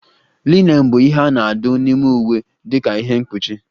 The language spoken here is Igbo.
Linen bụ ihe a na-adụ n'ime iwe dika ihe mkpuchi